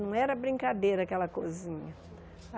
Não era brincadeira aquela cozinha.